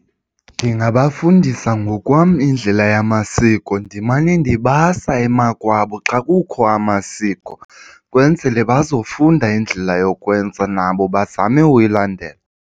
Ndingabafundisa ngokwam indlela yamasiko ndimane ndibasa emakwabo xa kukho amasiko kwenzele bazofunda indlela yokwenza nabo bazame uyilandela.